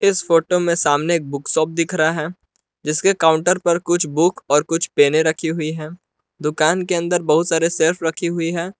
इस फोटो में सामने बुक शॉप दिख रहा है जिसके काउंटर पर कुछ बुक और कुछ पेने रखी हुई हैं दुकान के अंदर बहुत सारे सेल्फ रखी हुई हैं।